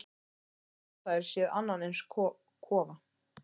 Aldrei höfðu þær séð annan eins kofa.